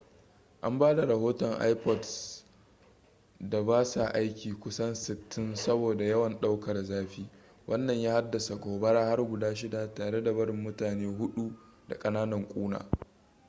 an ba da rohoton ipods da ba sa aiki kusan 60 saboda yawan ɗaukar zafi wannan ya haddasa gobara har guda shida tare da barin mutane hudu da kananan ƙuna